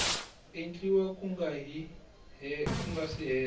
endliwa ku nga si hela